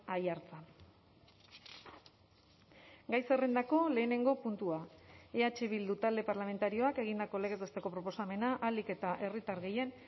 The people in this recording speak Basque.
aiartza gai zerrendako lehenengo puntua eh bildu talde parlamentarioak egindako legez besteko proposamena ahalik eta herritar gehien